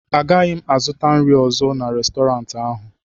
Agaghị m azụta nri ọzọ n'Restọrantị ahụ